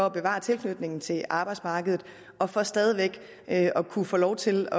at bevare tilknytningen til arbejdsmarkedet og for stadig væk at kunne få lov til